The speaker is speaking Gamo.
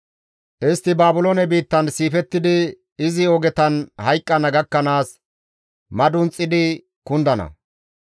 Istti Baabiloone biittan siifettidi, izi ogetan hayqqana gakkanaas madunxidi kundana.